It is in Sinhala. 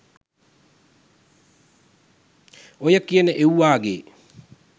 ඔය කියන එව්වාගේ